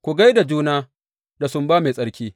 Ku gai da juna da sumba mai tsarki.